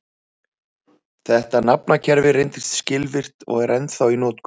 Þetta nafnakerfi reyndist skilvirkt og er ennþá í notkun.